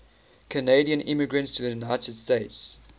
canadian immigrants to the united states